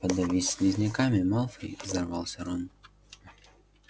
подавись слизняками малфой взорвался рон